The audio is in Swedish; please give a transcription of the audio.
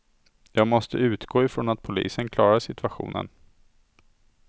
Jag måste utgå ifrån att polisen klarar situationen.